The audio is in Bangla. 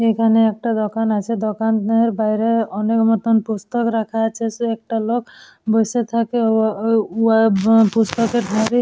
এখানে একটা দোকান আছে দোকানের বাইরে অনেক মতন পুস্তক রাখা আছে সে একটা লোক বসে থাকে ওহা ও আ উয়া উম পুস্তকের ধারে--